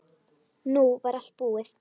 Nú var allt búið.